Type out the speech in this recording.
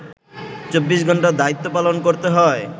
২৪ ঘণ্টা দায়িত্ব পালন করতে হয়